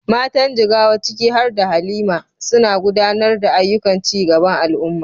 Matan Jigawa, ciki har da Halima, suna gudanar da ayyukan ci gaban al’umma.